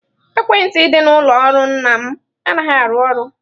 Ekwentị dị n'ụlọ ọrụ nna m anaghị arụ ọrụ.